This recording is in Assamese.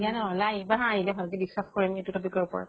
দিয়া নহলে আহিবা হা। আহিলে ভালকে discuss কৰিম এইতো topic ৰ ওপৰত।